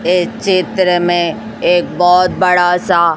ये चित्र में एक बहुत बड़ा सा--